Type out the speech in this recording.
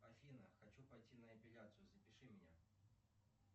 афина хочу пойти на эпиляцию запиши меня